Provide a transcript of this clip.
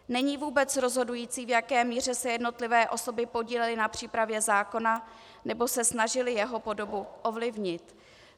Není vůbec rozhodující, v jaké míře se jednotlivé osoby podílely na přípravě zákona nebo se snažily jeho podobu ovlivnit.